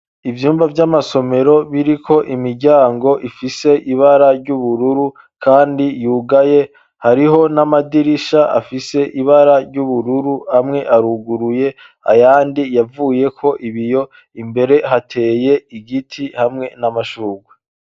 Ivyumba vy'amasomero, biriko imiryango, ifise ibara ry'ubururu, kandi yugaye; hariho n'amadirisha, afise ibara ry'ubururu, amwe aruguruye, ayandi yavuyeko ibiyo; imbere hateye igiti, hamwe n'amashurwe.